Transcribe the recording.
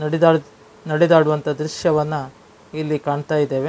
ನಡೆ ನಡೆದಾಡುವಂಥ ದ್ರಶ್ಯವನ್ನು ಇಲ್ಲಿ ಕಾಣ್ತಾ ಇದ್ದೇವೆ.